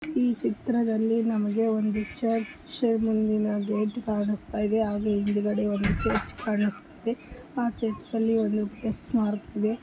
ಈ ಚಿತ್ರದಲ್ಲಿ ನಮಗೆ ಒಂದು ಚರ್ಚ್ ಮುಂದಿನ ಗೇಟ್ ಕಾಣಿಸ್ತಾ ಇದೆ ಹಾಗೆ ಹಿಂದಗಡೆ ಒಂದು ಚರ್ಚ್ ಕಾಣಿಸ್ತಾ ಇದೆ ಆರ್ ಚರ್ಚಿದಲ್ಲಿ ಒಂದು ಪ್ಲಸ್ ಮಾರ್ಕ್ ಇದೆ.